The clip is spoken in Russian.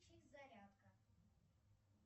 зарядка